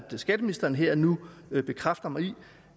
skatteministeren her og nu bekræfter mig i